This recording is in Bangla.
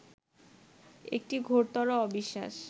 একটি ঘোরতর অবিশ্বাস